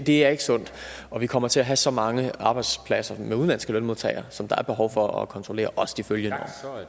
det er ikke sundt og vi kommer til at have så mange arbejdspladser med udenlandske lønmodtagere som der er behov for at kontrollere også de følgende